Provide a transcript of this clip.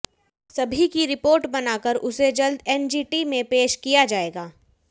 सभी की रिपोर्ट बनाकर उसे जल्द एनजीटी में पेश किया जाएगा